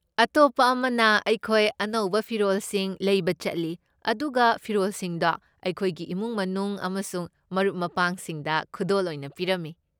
ꯑꯇꯣꯞꯄ ꯑꯃꯅ ꯑꯩꯈꯣꯏ ꯑꯅꯧꯕ ꯐꯤꯔꯣꯜꯁꯤꯡ ꯂꯩꯕ ꯆꯠꯂꯤ ꯑꯗꯨꯒ ꯐꯤꯔꯣꯜꯁꯤꯡꯗꯣ ꯑꯩꯈꯣꯏꯒꯤ ꯏꯃꯨꯡ ꯃꯅꯨꯡ ꯑꯃꯁꯨꯡ ꯃꯔꯨꯞ ꯃꯄꯥꯡꯁꯤꯡꯗ ꯈꯨꯗꯣꯜ ꯑꯣꯏꯅ ꯄꯤꯔꯝꯃꯤ ꯫